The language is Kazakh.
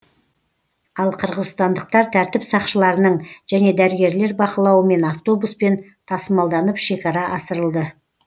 ал қырғызстандықтар тәртіп сақшыларының және дәрігерлер бақылауымен автобуспен тасымалданып шекара асырылды